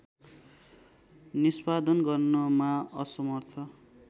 निष्‍पादन गर्नमा असमर्थ